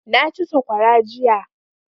Na ci saƙwara jiya